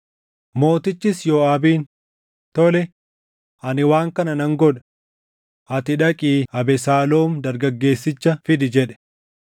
Mootichis Yooʼaabiin, “Tole; ani waan kana nan godha. Ati dhaqii Abesaaloom dargaggeessicha fidi” jedhe.